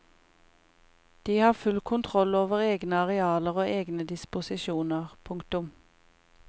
De har full kontroll over egne arealer og egne disposisjoner. punktum